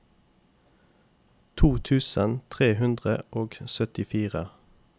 to tusen tre hundre og syttifire